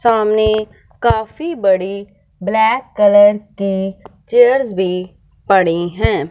सामने काफी बड़ी ब्लैक कलर के चेयर्स भी पड़े हैं।